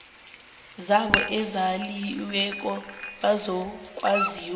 zabo ezaliweko bazakwaziswa